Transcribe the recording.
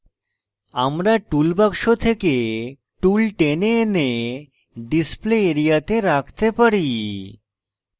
আমরা tools বাক্স থেকে tools টেনে এনে display area তে রাখতে পারি